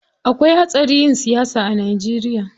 Akwai hatsari yin siyasa a Najeriya.